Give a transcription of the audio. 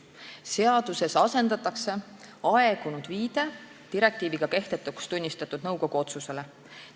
Seaduses asendatakse aegunud viide direktiiviga kehtetuks tunnistatud nõukogu otsusele.